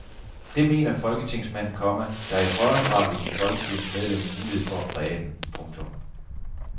Det mener folketingsmanden, komma der i højere grad vil give folkekirkens medlemmer mulighed for at præge den. punktum